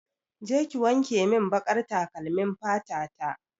Je ki wankemin baƙar takalmin fata ta!